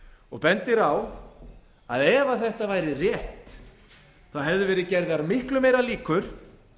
og bendir á að ef þetta væri rétt hefðu verið gerðar miklu meiri líkur